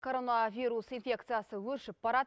коронавирус инфекциясы өршіп барады